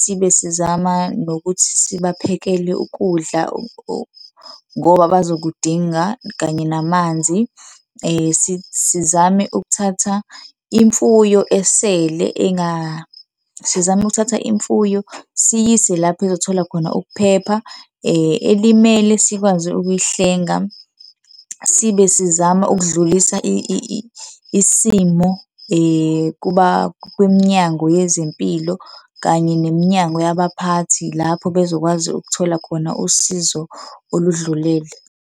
Sibe sizama nokuthi sibaphekele ukudla ngoba bazokudinga kanye namanzi. Sizame ukuthatha imfuyo esele sizame ukuthatha imfuyo siyise lapha ezothola khona ukuphepha, elimele sikwazi ukuyihlenga, sibe sizama ukudlulisa isimo kwiminyango yezempilo kanye neminyango yabaphathi lapho bezokwazi ukuthola khona usizo oludlulele.